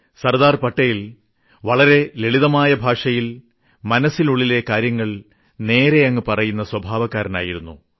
സർദാർ പട്ടേൽ ലളിതമായ ഭാഷയിൽ മനസ്സിനുള്ളിലെ കാര്യങ്ങൾ നേരെയങ്ങ് പറയുന്ന സ്വഭാവക്കാരനായിരുന്നു